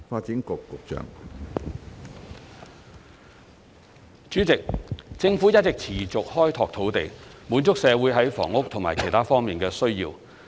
主席，政府一直持續開拓土地，滿足社會在房屋和其他方面的需要。